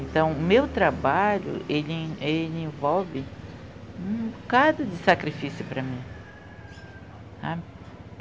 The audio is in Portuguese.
Então, o meu trabalho ele, ele envolve um bocado de sacrifício para mim.